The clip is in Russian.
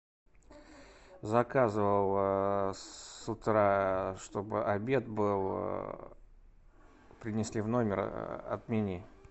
заказывал с утра чтобы обед был принесли в номер отмени